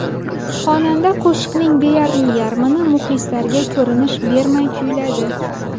Xonanda qo‘shiqning deyarli yarmini muxlislarga ko‘rinish bermay kuyladi.